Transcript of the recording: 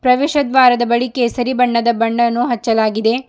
ಪ್ರವೇಶ ದ್ವಾರದ ಬಳಿ ಕೇಸರಿ ಬಣ್ಣದ ಬಣ್ಣವನ್ನು ಹಚ್ಚಲಾಗಿದೆ.